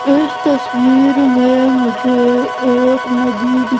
इस तस्वीर में मुझे एक नदी--